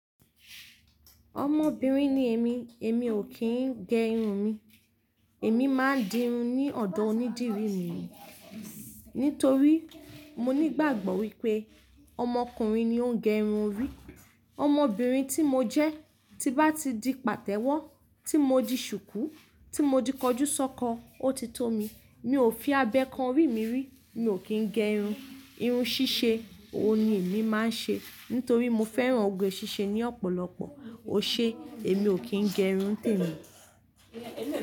Ọmọbìnrin ni èmi, èmi ò kí ń gẹ irun mi. Èmi máa ń di irun ní ọ̀dọ̀ onídìrí mi nítorí mo nígbàgbọ́ wípé ọmọkùnrin ni ó ń gẹ irun orí. Ọmọbìnrin tí mo jẹ́, tí n bá ti di pàtẹ́wọ́, tí mo di ṣùkú, tí mo di kọjúsọ́kọ, ó ti tó mi. Mi ò fi abẹ kan orí mi rí, mi ò kí ń gẹ irun. Irun ṣíṣe, òun ni èmi máa ń ṣe nítorí mo fẹ́ran oge ṣíṣe ní ọ̀pọ̀lọpọ̀. Ó ṣe, èmi ò kí ń gẹ irun témi.